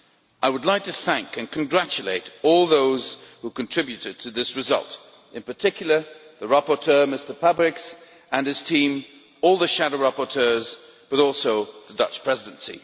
I would like to thank and congratulate all those who contributed to this result, in particular the rapporteur, Mr Pabriks, and his team, all the shadow rapporteurs and also the Dutch Presidency.